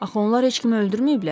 Axı onlar heç kimi öldürməyiblər.